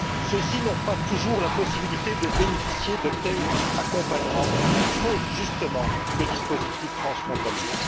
Ceux ci n'ont pas toujours la possibilité de bénéficier d'un tel accompagnement, faute, justement, de dispositifs transfrontaliers.